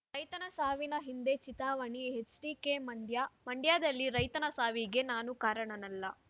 ರೈತನ ಸಾವಿನ ಹಿಂದೆ ಚಿತಾವಣೆ ಎಚ್‌ಡಿಕೆ ಮಂಡ್ಯ ಮಂಡ್ಯದಲ್ಲಿ ರೈತನ ಸಾವಿಗೆ ನಾನು ಕಾರಣನಲ್ಲ